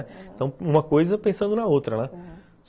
Então, uma coisa pensando na outra, né, uhum.